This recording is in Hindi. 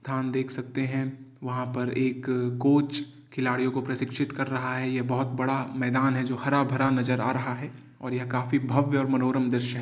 धान देख सकते हैं। वहाँ पर एक कोच खिलाड़ियों को प्रशिक्षित कर रहा है। यह बहुत बड़ा मैदान जो हरा भरा नजर आ रहा है और काफी भव्य और मनोरम दृश्य है।